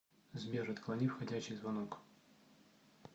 сбер отклони входящий звонок